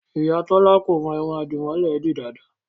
Ìyá Tọ́lá kò mọ irun àdìmọ́lẹ̀ ẹ dì dáadáa